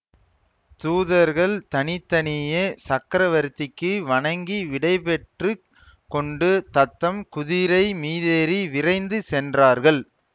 தூதர்கள் தனி தனியே சக்கரவர்த்திக்கு வணங்கி விடைபெற்று கொண்டு தத்தம் குதிரை மீதேறி விரைந்து சென்றார்கள்